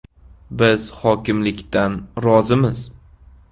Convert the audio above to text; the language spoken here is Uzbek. Biz hokimlikdan rozimiz.